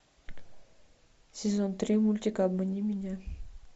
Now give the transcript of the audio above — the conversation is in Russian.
сезон три мультика обмани меня